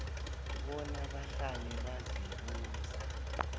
bona bahlale bazibuza